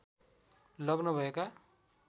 लग्न भएका